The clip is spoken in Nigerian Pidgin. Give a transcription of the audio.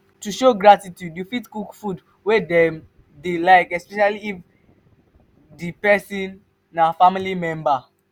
to show gratitude you fit cook food wey dem dey like especially if especially if di person na family member